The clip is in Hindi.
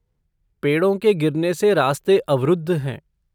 पेड़ों के गिरने से रास्ते अवरुद्ध है।